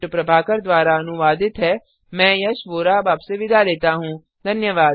यह स्क्रिप्ट प्रभाकर द्वारा अनुवादित है मैं यश वोरा अब आपसे विदा लेता हूँ